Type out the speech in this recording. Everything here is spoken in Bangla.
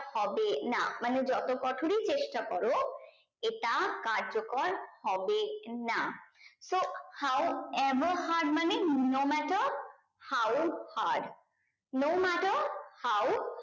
হবে না মানে যত কঠোরই চেষ্টা করো এটা কার্য কর হবে না so how ever hard মানে no matter how hard no matter how